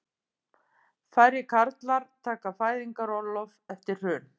Færri karlar taka fæðingarorlof eftir hrun